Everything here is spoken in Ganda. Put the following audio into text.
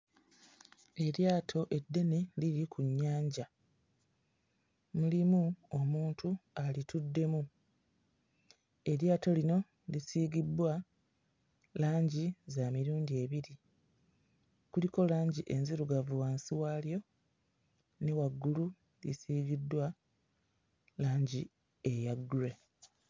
Eryato eddene liri ku nnyanja. Mulimu omuntu alituddemu. Eryato lino lisiigibbwa langi za mirundi ebiri, kuliko langi enzirugavu wansi walyo, ne waggulu lisiigiddwa langi eya grey.